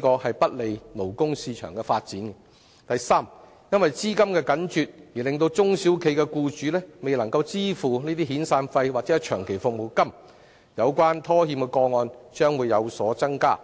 工，窒礙勞工市場的發展；第三，中小企僱主或因資金緊絀而未能支付遣散費或長期服務金，以致拖欠個案有所增加。